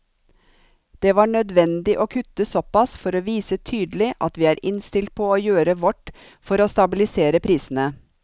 Det var nødvendig å kutte såpass for å vise tydelig at vi er innstilt på å gjøre vårt for å stabilisere prisene.